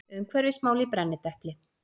Umhverfismál í brennidepli.